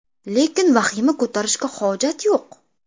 Lekin vahima ko‘tarishga hojat yo‘q.